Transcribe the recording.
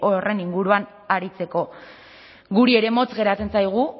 horren inguruan aritzeko guri ere motz geratzen zaigu